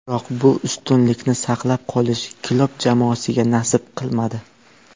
Biroq bu ustunlikni saqlab qolish Klopp jamoasiga nasib qilmadi.